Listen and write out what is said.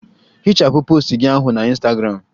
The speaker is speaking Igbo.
Hichapụ post gị ahụ na Ịnstagramụ!